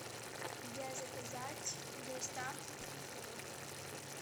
где заказать доставку цветов